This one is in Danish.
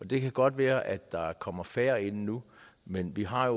det kan godt være at der kommer færre ind nu men vi har